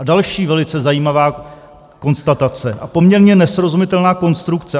A další velice zajímavá konstatace a poměrně nesrozumitelná konstrukce.